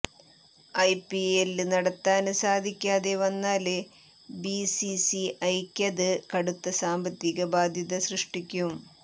IPL നടത്താന് സാധിക്കാതെ വന്നാല് ബിസിസിഐക്കത് കടുത്ത സാമ്പത്തിക ബാധ്യത സൃഷ്ടിക്കും